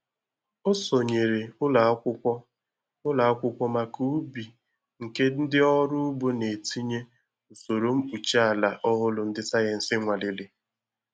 Ọ sonyeere ụlọ akwụkwọ ụlọ akwụkwọ maka ubi nke ndị ọrụ ugbo na-etinye usoro mkpuchi ala ọhụrụ ndị sayensi nwalere